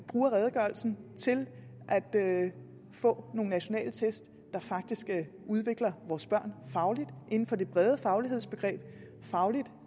bruger redegørelsen til at få nogle nationale test der faktisk udvikler vores børn fagligt inden for det brede faglighedsbegreb fagligt